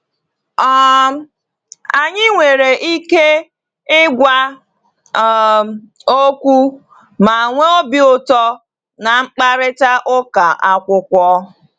um Anyị nwere ike ịgwa um okwu ma nwee obi ụtọ na mkparịta ụka akwụkwọ.